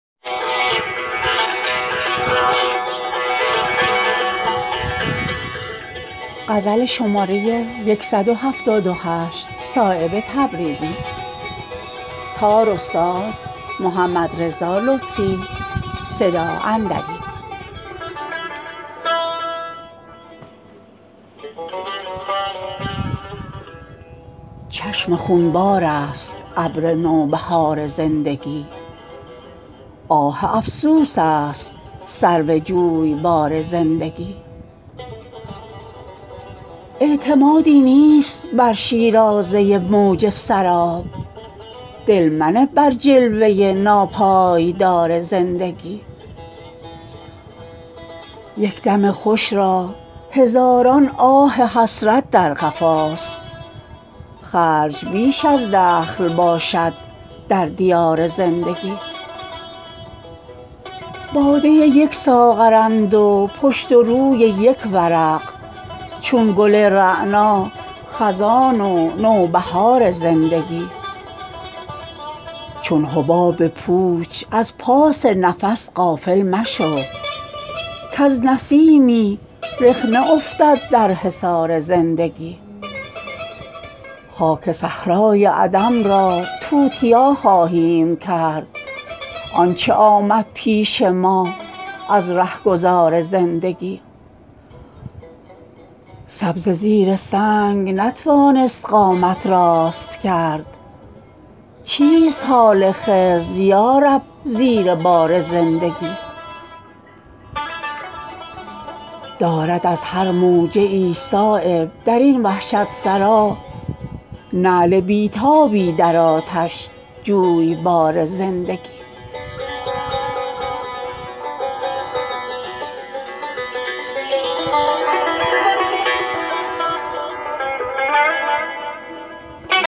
چشم خونبارست ابر نوبهار زندگی آه افسوس است سرو جویبار زندگی نیست غیر از لب گزیدن نقلی این پیمانه را دردسر بسیار دارد میگسار زندگی برگ او از دست افسوس و ثمر بار دل است دل منه چون غافلان بر برگ و بار زندگی دیده از روی تأمل باز کن چون عارفان کز نگاهی ریزد از هم پود و تار زندگی می برد با خود ز بی تابی کمند و دام را در کمند هر که می افتد شکار زندگی اعتمادی نیست بر شیرازه موج سراب دل منه بر جلوه ناپایدار زندگی یک دم خوش را هزاران آه حسرت در قفاست خرج بیش از دخل باشد در دیار زندگی باده یک ساغرند و پشت و روی یک ورق چون گل رعنا خزان و نوبهار زندگی از تزلزل بیخودان نیستی آسوده اند بر نفس پیوسته لرزد شیشه بار زندگی در شبستان عدم باشد حضور خواب امن نیست جز تشویش خاطر در دیار زندگی چون حباب پوچ از پاس نفس غافل مشو کز نسیمی رخنه افتد در حصار زندگی بارها سر داد بر باد و همان از سادگی شمع گردن می کشد از انتظار زندگی دارد از برق سبک جولان طمع استادگی هر که از غفلت دهد با خود قرار زندگی چون نگردد سبز در میدان جانبازان عشق نیست خضر نیک پی گر شرمسار زندگی گر به سختی بیستون گردیده ای چون جوی شیر نرم سازد استخوانت را فشار زندگی مرگ چون موی از خمیر آسان کشد بیرون ترا ریشه گر در سنگ داری در دیار زندگی چون شرر با روی خندان خرده جان کن نثار چند لرزی بر زر ناقص عیار زندگی تا نگردیده است دست از رعشه ات بی اختیار دست بردار از عنان اختیار زندگی موج آب زندگانی می شمارد تیغ را هر که پیش از مرگ شست از خود غبار زندگی می تواند شد شفیع روزگاران دگر آنچه صرف عشق شد از روزگار زندگی تا دم صبح قیامت نقش بندد بر زمین هر که افتد از نفس در زیر بار زندگی خاک صحرای عدم را توتیا خواهیم کرد آنچه آمد پیش ما از رهگذار زندگی سبزه زیر سنگ نتوانست قامت راست کرد چیست حال خضر یارب زیر بار زندگی برگ سبزی می کند ما بینوایان را نهال بیش از این خشکی مکن ای نوبهار زندگی دارد از هر موجه ای صایب درین وحشت سرا نعل بی تابی در آتش جویبار زندگی